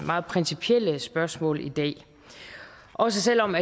meget principielle spørgsmål i dag også selv om